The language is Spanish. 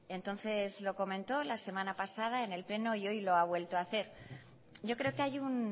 entonces lo comentó la semana pasada en el pleno y hoy lo ha vuelto a hacer yo creo que hay un